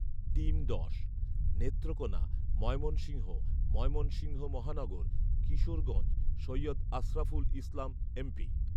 team দশ, নেত্রকোনা, ময়মনসিংহ, ময়মনসিংহ মহানগর, Kishoreganj, Syed Ashraful Islam MP